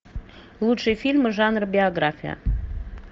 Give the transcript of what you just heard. лучшие фильмы жанра биография